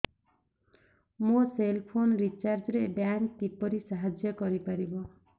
ମୋ cell phone recharge ରେ bank କିପରି ସାହାଯ୍ୟ କରିପାରିବ